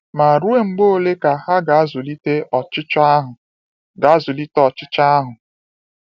Ma ruo mgbe ole ka ha ga-azụlite ọchịchọ ahụ̀? ga-azụlite ọchịchọ ahụ̀?